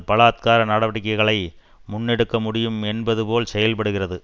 பலாத்தகார நடவடிக்கைகளை முன்னெடுக்க முடியும் என்பது போல் செயல்படுகிறது